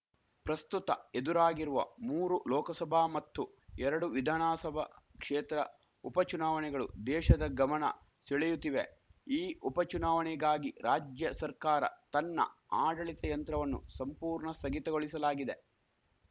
ಪ್ರಸ್ತುತ ಎದುರಾಗಿರುವ ಮೂರು ಲೋಕಸಭಾ ಮತ್ತು ಎರಡು ವಿಧಾಣಾಸಭಾ ಕ್ಷೇತ್ರ ಉಪಚುನಾವಣೆಗಳು ದೇಶದ ಗಮಣ ಸೆಳೆಯುತ್ತಿವೆ ಈ ಉಪಚುನಾವಣೆಗಾಗಿ ರಾಜ್ಯ ಸರ್ಕಾರ ತನ್ನ ಆಡಳಿತ ಯಂತ್ರವನ್ನು ಸಂಪೂರ್ಣ ಸ್ಥಗಿತಗೊಳಿಸಲಾಗಿದೆ